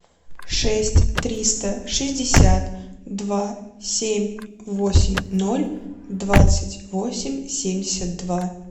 шесть триста шестьдесят два семь восемь ноль двадцать восемь семьдесят два